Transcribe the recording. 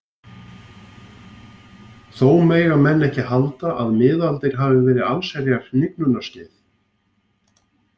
Þó mega menn ekki halda að miðaldir hafi verið allsherjar hnignunarskeið.